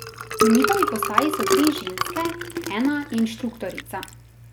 Na njihovi postaji so tri ženske, ena je inštruktorica.